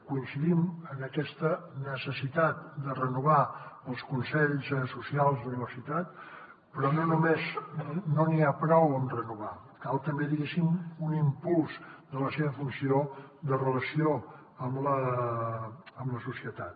coincidim en aquesta necessitat de renovar els consells socials d’universitat però no només no n’hi ha prou amb renovar cal també diguéssim un impuls de la seva funció de relació amb la societat